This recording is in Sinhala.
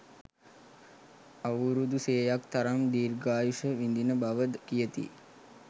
අවුරුදු සියයක තරම් දීර්ඝායුෂ විඳින බවද කියති.